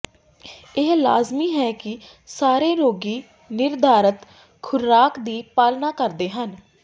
ਇਹ ਲਾਜਮੀ ਹੈ ਕਿ ਸਾਰੇ ਰੋਗੀ ਨਿਰਧਾਰਤ ਖੁਰਾਕ ਦੀ ਪਾਲਣਾ ਕਰਦੇ ਹਨ